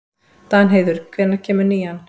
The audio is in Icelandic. Danheiður, hvenær kemur nían?